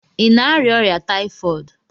Ị na-arịa ọrịa taifọdụ?